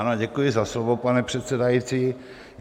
Ano, děkuji za slovo, pane předsedající.